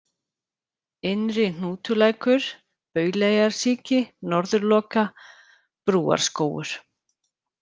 Innri-Hnútulækur, Bauleyrarsíki, Norðurloka, Brúarskógur